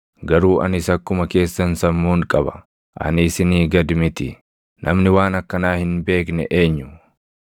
Garuu anis akkuma keessan sammuun qaba; ani isinii gad miti. Namni waan akkanaa hin beekne eenyu?